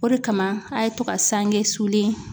O de kama a' ye to ka sange sulen